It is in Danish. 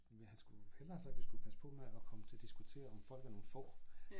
Men han skulle hellere have sagt vi skulle passe på med at komme til at diskutere om folk er nogen får